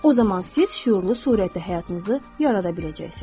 O zaman siz şüurlu surətdə həyatınızı yarada biləcəksiniz.